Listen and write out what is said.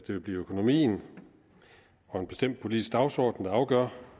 vil blive økonomien og en bestemt politisk dagsorden der afgør